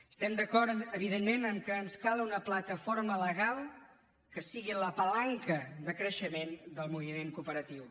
estem d’acord evidentment que ens cal una plataforma legal que sigui la palanca de creixement del moviment cooperatiu